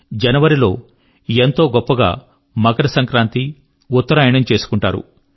జనవరి లో ఎంతో గొప్పగా మకర సంక్రాంతి ఉత్తరాయణం చేసుకుంటారు